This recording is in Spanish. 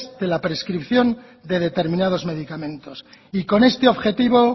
de la prescripción de determinados medicamentos y con este objetivo